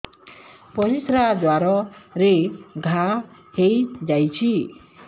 ପରିଶ୍ରା ଦ୍ୱାର ରେ ଘା ହେଇଯାଇଛି